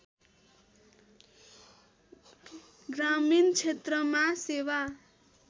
ग्रामीण क्षेत्रमा सेवा